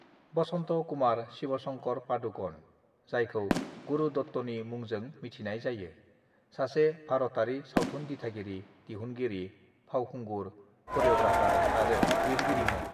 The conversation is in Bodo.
"बसन्त कुमार शिवशंकर पादुकण, जायखौ गुरु दत्तनि मुंजों मिथिनाय जायो, सासे भारतयारि सावथुन दिथागिरि, दिहुनगिरि, फावखुंगुर, करिय'ग्राफार आरो लिरगिरिमोन।"